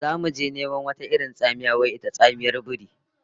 Zamu je neman wata irin tsamiya wai ita tsamiyar biri